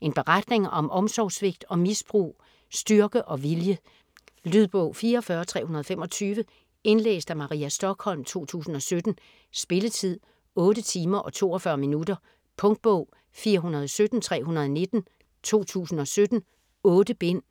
En beretning om omsorgssvigt og misbrug, styrke og vilje. Lydbog 44325 Indlæst af Maria Stokholm, 2017. Spilletid: 8 timer, 42 minutter. Punktbog 417319 2017. 8 bind.